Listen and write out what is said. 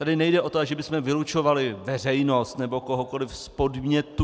Tady nejde o to, že bychom vylučovali veřejnost nebo kohokoliv z podnětů.